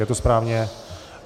Je to správně?